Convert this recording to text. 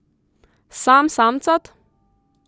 Sam samcat?